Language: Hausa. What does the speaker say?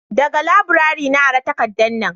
daga laburare na ara takardan nan